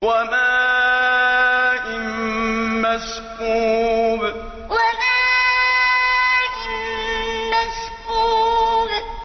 وَمَاءٍ مَّسْكُوبٍ وَمَاءٍ مَّسْكُوبٍ